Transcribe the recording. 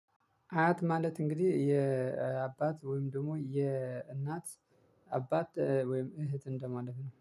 አያት ማለት እንግዲህ የአባት ወይም ደግሞ የእናት አባት ወይም እህት እንደማለት ነው